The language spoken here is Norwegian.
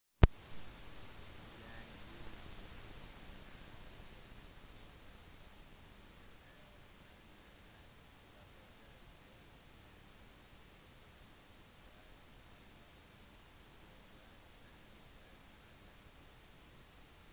den «usynlige gruppen» er ledelsesgruppen som hver av medlemmene rapporterer til. den usynlige gruppen setter standarden for hvert enkelt medlem